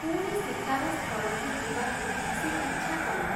ପୁଣି ଶିକାର ସ୍ଥଳକୁ ଯିବାକୁ ସେ ଇଚ୍ଛା କଲା ।